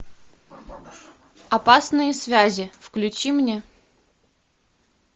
опасные связи включи мне